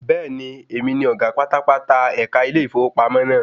Bẹ́ẹ̀ni, èmi ni ọ̀gá pátápátá ẹ̀ka ilé ìfowópamọ́ náà.